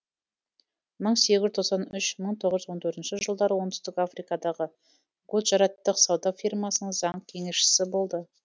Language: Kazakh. мың сегіз жүз тоқсан үш мың тоғыз жүз он төртінші жылдары оңтүстік африкадағы гуджараттық сауда фирмасының заң кеңесшісі болды